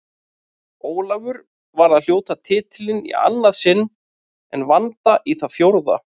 Ólafur var að hljóta titilinn í annað sinn en Vanda í það fjórða.